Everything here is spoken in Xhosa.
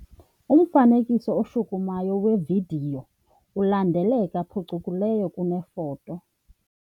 Umfanekiso oshukumayo wevidiyo ulandeleka phucukileyo kunefoto.